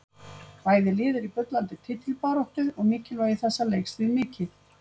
Bæði lið eru í bullandi titilbaráttu og mikilvægi þessa leiks því mikið.